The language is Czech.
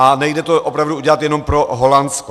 A nejde to opravdu udělat jenom pro Holandsko.